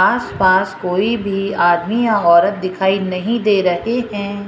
आस पास कोई भी आदमी या औरत दिखाई नहीं दे रहे हैं।